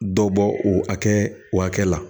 Dɔ bɔ o hakɛ o hakɛ la